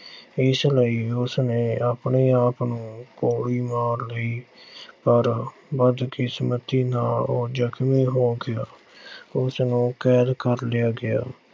ਇਸ ਲਈ ਉਸ ਨੇ ਆਪਣੇ ਆਪ ਨੂੰ ਗੋਲੀ ਮਾਰ ਲਈ, ਪਰ ਬਦਕਿਸਮਤੀ ਨਾਲ ਉਹ ਜਖ਼ਮੀ ਹੋ ਗਿਆ। ਉਸ ਨੂੰ ਕੈਦ ਕਰ ਲਿਆ ਗਿਆ।